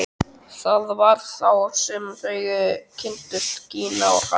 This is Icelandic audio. Það var þá sem þau kynntust, Gína og hann.